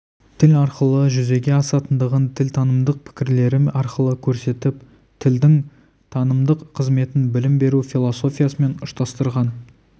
тіл арқылы жүзеге асатындығын тілтанымдық пікірлері арқылы көрсетіп тілдің танымдық қызметін білім беру философиясымен ұштастырған